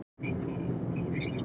Tvö gul með skömmu millibili.